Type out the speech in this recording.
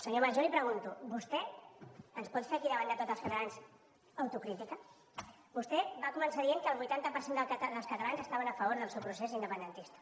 senyor mas jo li pregunto vostè ens pot fer aquí davant de tots els catalans autocrítica vostè va començar dient que el vuitanta per cent dels catalans estaven a favor del seu procés independentista